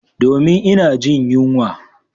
Domin ina jin yunwa.